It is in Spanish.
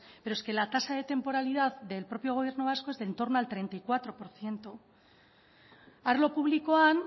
pero es que la tasa de temporalidad del propio gobierno vasco es de entorno al treinta y cuatro por ciento arlo publikoan